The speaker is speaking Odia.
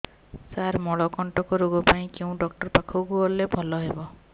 ସାର ମଳକଣ୍ଟକ ରୋଗ ପାଇଁ କେଉଁ ଡକ୍ଟର ପାଖକୁ ଗଲେ ଭଲ ହେବ